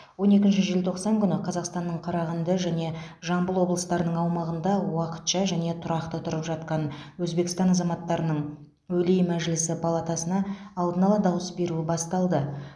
он екінші желтоқсан күні қазақстанның қарағанды және жамбыл облыстарының аумағында уақытша және тұрақты тұрып жатқан өзбекстан азаматтарының өлий мәжілісі палатасына алдын ала дауыс беруі басталды